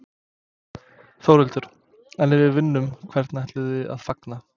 Þórhildur: En ef við vinnum, hvernig ætlið þið að fagna?